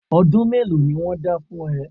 Ọdún mélòó ni wọ́n dá fún ẹ?